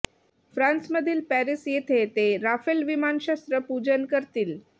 फ्रान्समधील पॅरीस येथे ते राफेल विमान शस्त्र पूजन करतील